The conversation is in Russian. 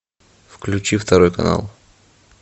включи второй канал